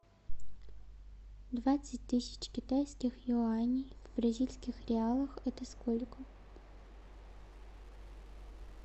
двадцать тысяч китайских юаней в бразильских реалах это сколько